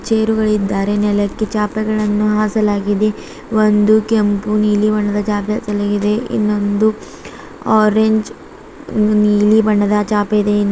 ಚೇರುಗಳಿದ್ದಾರೆ ನೆಲಕ್ಕೆ ಚಾಪೆಗಳನ್ನು ಹಾಸಲಾಗಿದೆ ಒಂದು ಕೆಂಪು ನೀಲಿ ಬಣ್ಣದ ಚಾಪೆ ಹಾಸಲಾಗಿದೆ ಇನ್ನೊಂದು ಆರೆಂಜ್ ಒಂದು ನೀಲಿ ಬಣ್ಣದ ಚಾಪೆ ಇದೆ ಇನ್ನೂ --